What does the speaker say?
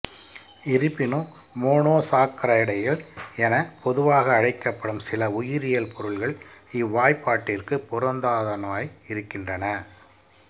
இருப்பினும் மோனோசாக்கரைடுகள் என பொதுவாக அழைக்கப்படும் சில உயிரியல் பொருள்கள் இவ்வாய்ப்பாட்டிற்கு பொருந்தாதனவாய் இருக்கின்றன